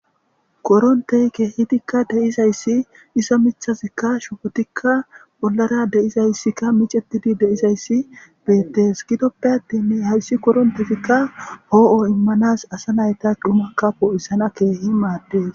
koronteyke hidikka deizayssi isa michazikka shupotikka bollara deizayssikka micettidi deizayssi beettes gidoppe attinne hayssi korontetikka hoo7o immanas asa nayta dhumakka poo7isana keehi maaddes